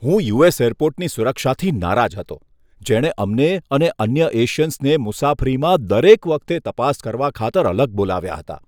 હું યુ.એસ. એરપોર્ટની સુરક્ષાથી નારાજ હતો, જેણે અમને અને અન્ય એશિયન્સને મુસાફરીમાં દરેક વખતે તપાસ કરવા ખાતર અલગ બોલાવ્યા હતા.